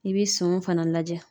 I bi senw fana lajɛ.